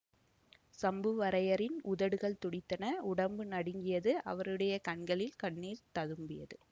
சம்புவரையரின் உதடுகள் துடித்தன உடம்பு நடுங்கியது அவருடைய கண்களில் கண்ணீர் ததும்பியது